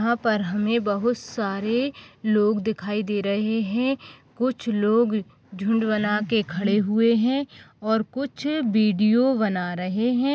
यहा पर हमे बहुत सारे लोग दिखाई दे रहे है कुछ लोग झुंड बनाके खड़े हुये है और कुछ वीडियो बना रहे है।